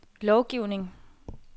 lovgivning